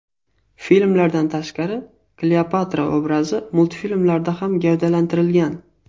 Filmlardan tashqari Kleopatra obrazi multfilmlarda ham gavdalantirilgan.